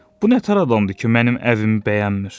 Bu nə təhər adamdır ki, mənim evimi bəyənmir?